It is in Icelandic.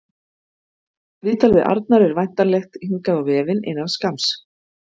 Viðtal við Arnar er væntanlegt hingað á vefinn innan skamms.